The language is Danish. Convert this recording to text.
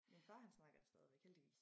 Min far han snakker det stadigvæk heldigvis